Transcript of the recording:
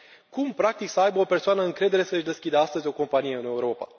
Cum, practic, să aibă o persoană încredere să își deschidă astăzi o companie în Europa?